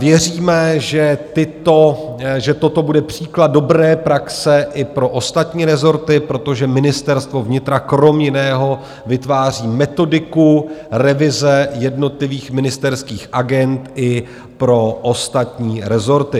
Věříme, že toto bude příklad dobré praxe i pro ostatní rezorty, protože Ministerstvo vnitra kromě jiného vytváří metodiku revize jednotlivých ministerských agend i pro ostatní rezorty.